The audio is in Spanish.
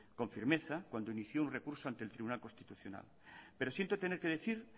con firmeza cuando inició un recurso ante el tribunal constitucional pero siento tener que decir